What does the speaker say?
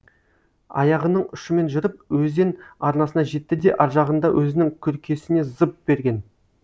аяғының ұшымен жүріп өзен арнасына жетті де аржағында өзінің күркесіне зып берген